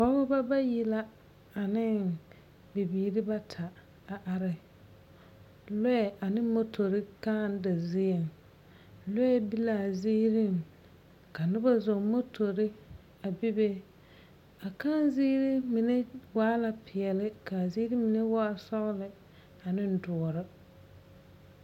pɔgeba bayi la ane bibiiri bata a are lɔɛ ane motori kãã da zie. lɔɛ be la aziiri, ka noba zɔŋ motori a bebe a akãã ziiri mine waa la peɛle ka a mine a ziiri mine waa sɔgelɔ ane doɔre.